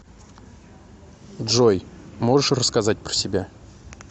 джой можешь рассказать про себя